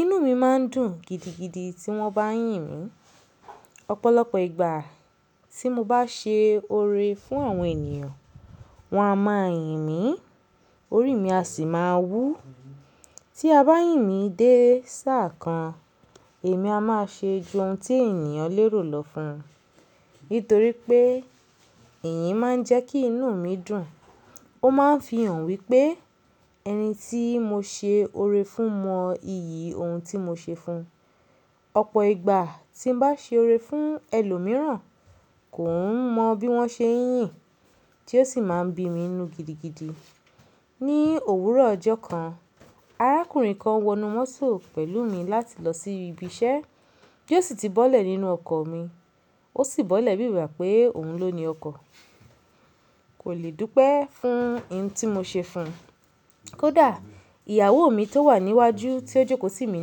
Inú mi máa ń dùn gidigidi tí wọ́n bá yìn mí. Ọ̀pọ̀lọpọ̀ ìgbà tí mo bá ṣe ore fún àwọn ènìyàn, wọ́n a máa yìn mí, orí mi a sì máa wú. Tí a bá yìn mí dé sáà kan, èmi a máa ṣe ju ohun tí ènìyàn lérò lọ fún un. Nítorí pé ìyìn máa ń jẹ́ kí inú mi dùn. Ó máa ń fi hàn wípé ẹni tí mo ṣe ore fún mọ iyì ohun tí mo ṣe fún un. Ọ̀pọ̀ ìgbà tí mo bá ṣe ore fún ẹlòmíràn kò n mọ bí wọ́n ṣe yìn, tí ó sì máa ń bí mi inú gidigidi. Ni òwúrọ̀ ọjọ́ kan, arákùnrin kan wọnú mọ́tò pẹ̀lú mi láti lọ sí ibi iṣẹ́, bí ó sì ti bọ́lẹ̀ nínú ọkọ̀ mi, ó sì bọ́lẹ̀ bí ìwà pé òun ló ni ọkọ̀. Kò lè dúpẹ́ fún ohun tí mo ṣe fún un. Kódà ìyàwó mi tó wà níwájú tí ó jókòó sí mi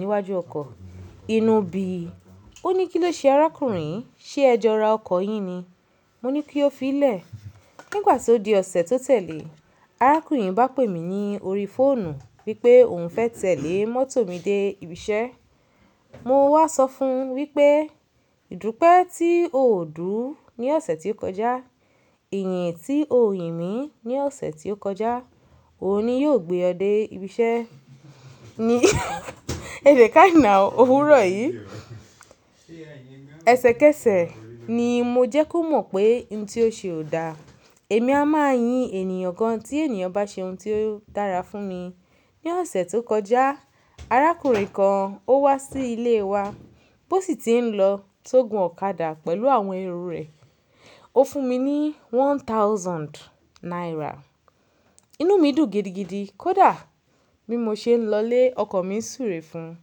níwájú ọkọ̀, inú bi, ó ní kí ló ṣe arákùnrin, ṣé ẹ jọra ọkọ̀ yín ni? Mo ní kí ó fi í lẹ̀. Nígbà tí ó di ọ̀sẹ̀ tó tẹ̀lé, arákùnrin yìí bá pè mí ní orí fóònù wípé òun fẹ́ tẹ̀lé mọ́tò mi dé ibi iṣẹ́. Mo wá sọ fún wípé ìdúpẹ́ tí o ò dúú ní ọ̀sẹ̀ tí ó kọjá, ìyìn tí o ò yìn mí ní ọ̀sẹ̀ tí ó kọjá, òun ni yóò gbé ọ dé ibi iṣẹ́ ní ẹ̀dẹ̀ káàina ní òwúrọ̀ yìí. Ẹ̀sẹ̀kẹsẹ̀ ni mo jẹ́ kó mọ̀ pé ohun tí ó ṣe ò da. Èmi a máa yin ènìyàn gan tí ènìyàn bá ṣe ohun tí ó dára fún mi. Ni ọ̀sẹ̀ tó kọjá, arákùnrin kan ó wá sí ilé wa, bó sì ti ń lọ tó gun ọ̀kadà pẹ̀lú àwọn ẹrù rẹ̀. Ó fún mi ní one thousand naira. Inú mi dùn gidigidi, kó dà bí mo ṣe ń lọ lé ọkọ̀ mi súre fún un.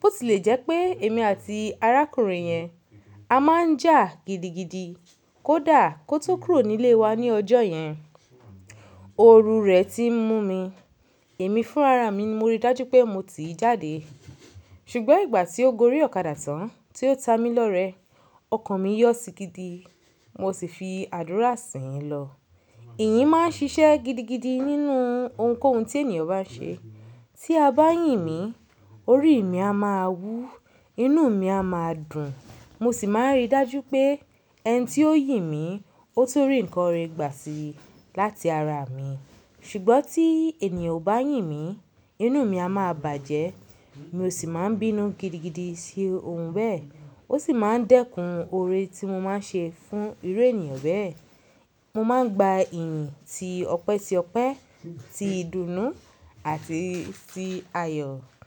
Bó ti lè jẹ́ pé èmi àti arákùnrin yẹn a máa ń jà gidigidi, kó dà kó tó kúrò nílé wa ní ọjọ́ yẹn. Oru rẹ̀ tí ń mú mi. Èmi fún ara mi mo rí dájú pé mo ti jáde. Ṣùgbọ́n ìgbà tí ó gorí ọ̀kadà tán tí ó ta mí lọ́rẹ, ọkọ̀ mi yọ́ sí gidi. Mo sì fi àdúra sìn lọ. Ìyìn máa ń ṣiṣẹ́ gidigidi nínú ohunkóhun tí ènìyàn bá ṣe. Tí a bá yìn mí, orí mi a máa wú, inú mi a máa dùn, mo sì máa rí dájú pé ẹni tí ó yìn mí, ó tó rí nǹkan rere gbà sí i láti ara mi. Ṣùgbọ́n tí ènìyàn o bá yìn mí, inú mi a máa bàjẹ́, mo sì máa ń bínú gidigidi sí ohun bẹ́ẹ̀. Ó sì máa ń dẹ́kun ore tí mo máa ń ṣe fún irú ènìyàn bẹ́ẹ̀. Mo máa ń gba ìyìn tí ọpẹ́ sí ọpẹ́, tí ìdùnnú àti ti ayọ̀.